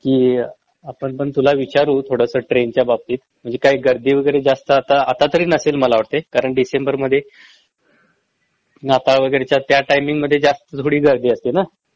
कि आपण पण तुला विचारू थोडस ट्रेन च्या बाबतीत म्हंजे काय गर्दी वगैरे जास्त आता आता तरी नसेल मला वाटतंय कारण डिसेंबर मध्ये नाताळ वगैरेच्या त्या टाईमिंग मध्ये जास्त थोडी गर्दी असती ना